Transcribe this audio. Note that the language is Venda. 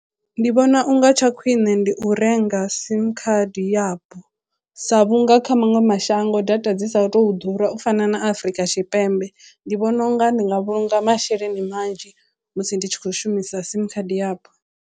Ndi vhona unga tsha khwiṋe ndi u renga sim card yapo sa vhunga kha maṅwe mashango data dzi sa tou ḓura u fana na Afrika Tshipembe ndi vhona unga ndi nga vhulunga masheleni manzhi musi ndi tshi khou shumisa sim khadi yapo.